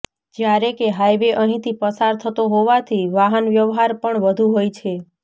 જ્યારે કે હાઈવે અહીંથી પસાર થતો હોવાથી વાહન વ્યવહાર પણ વધુ હોય છે